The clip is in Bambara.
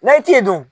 N'a ye t'i dun